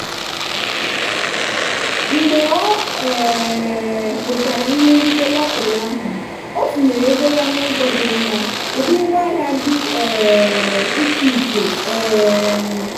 mgbe ọ um nwetara ihe nrite lọtrị ahụ ọ tinyere ego ya n'ụzọ dị mma ụdị ngwaahịa dị um iche iche. um